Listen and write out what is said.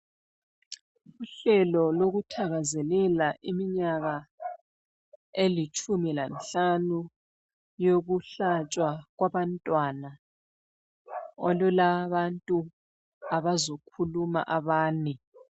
Uhlelo lokuthakazelela iminyaka elitshumi lanhlanu yokuhlatshwa kwabantwana olulabantu abazokhuluma abane.